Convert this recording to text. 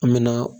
An mɛna